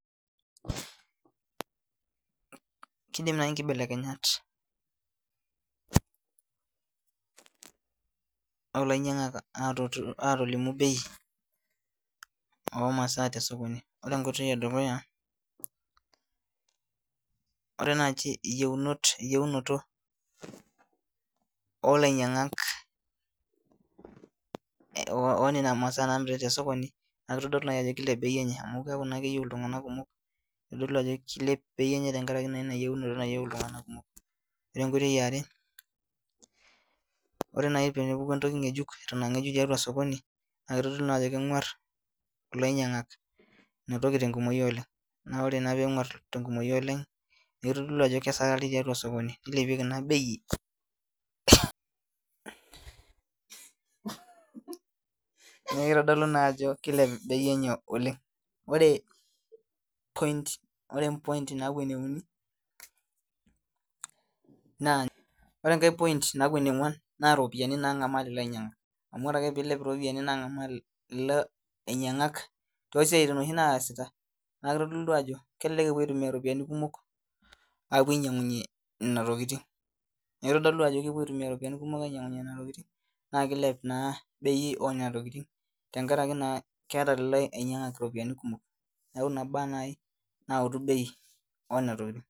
Kiidim naai nkibelekenyat oolainyiang'ak atolimu bei omasa tesokoni ore enkoitoi edukuya ore naaji eyi